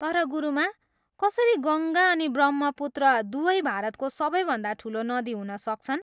तर गुरुमा, कसरी गङ्गा अनि ब्रह्मपुत्र दुवै भारतको सबैभन्दा ठुलो नदी हुन सक्छन्?